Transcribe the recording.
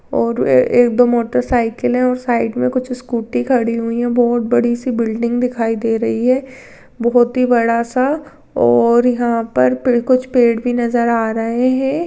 और एक दो मोटर साइकल है और साइड मे कुछ स्कूटी खड़ी हुई है बहुत बड़ी सी बिल्डिंग दिखाई दे रही है बहुत ही बड़ा सा और यहा पर कुछ पेड़ भी नजर आ रहे है।